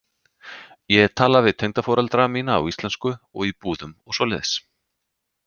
Ég tala við tengdaforeldra mína á íslensku og í búðum og svoleiðis.